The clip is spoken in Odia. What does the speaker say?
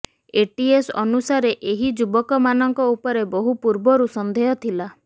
ଏଟିଏସ୍ ଅନୁସାରେ ଏହି ଯୁବକମାନଙ୍କ ଉପରେ ବହୁ ପୂର୍ବରୁ ସନ୍ଦେହ ଥିଲା